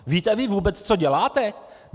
Víte vy vůbec, co děláte?